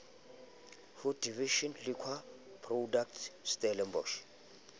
ho division liquor product stellenbosch